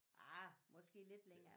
Ah måske lidt længere